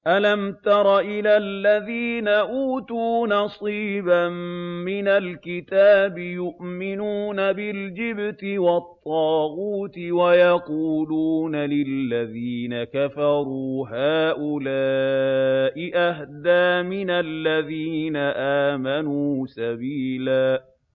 أَلَمْ تَرَ إِلَى الَّذِينَ أُوتُوا نَصِيبًا مِّنَ الْكِتَابِ يُؤْمِنُونَ بِالْجِبْتِ وَالطَّاغُوتِ وَيَقُولُونَ لِلَّذِينَ كَفَرُوا هَٰؤُلَاءِ أَهْدَىٰ مِنَ الَّذِينَ آمَنُوا سَبِيلًا